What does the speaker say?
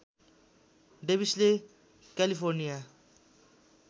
डेविसले California